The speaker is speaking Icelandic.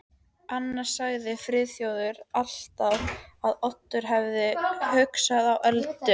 Annars sagði Friðþjófur alltaf að Oddur hefði augastað á Öldu.